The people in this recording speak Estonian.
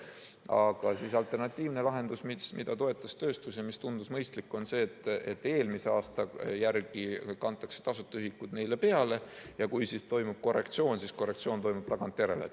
Aga alternatiivne lahendus, mida toetas tööstus ja mis tundus mõistlik, on see, et eelmise aasta järgi kantakse neile tasuta ühikud ja kui toimub korrektsioon, siis korrektsioon toimub tagantjärele.